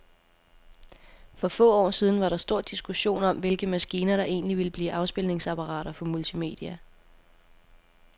For få år siden var der stor diskussion om, hvilke maskiner, der egentlig ville blive afspilningsapparater for multimedia.